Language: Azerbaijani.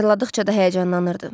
Xatırladıqca da həyəcanlanırdı.